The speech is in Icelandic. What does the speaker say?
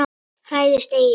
Hræðist eigi!